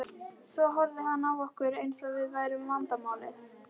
Svo horfði hann á okkur eins og við værum vandamálið.